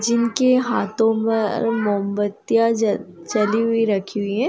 जिनके हाथों पर मोमबत्तियां जल-जली हुई रखी हुई हैं।